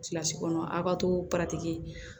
Kilasi kɔnɔ a' ka to paratiki